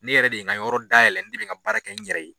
Ne yɛrɛ de ye n ka yɔrɔ dayɛlɛ, ne be ka baara kɛ n yɛrɛ ye.